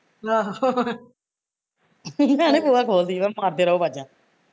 ਭੈਣੇ ਭੂਆ ਖੋਲਦੀ ਮੈਂ ਕਿਹਾ ਮਾਰਦੇ ਰਹੋ ਆਵਾਜ਼ਾਂ